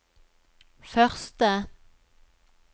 første